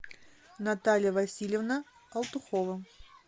наталья васильевна алтухова